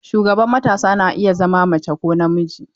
Shugaban matasa na iya zama mace ko namiji.